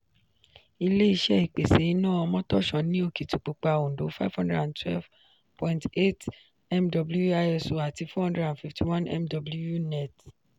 ilé-iṣé ìpèsè iná omotosho ní okitipupa òndó five hundred and twelve point eight mw (iso) àti four hundred and fifty one mw net